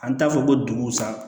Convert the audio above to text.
An t'a fɔ ko dugusa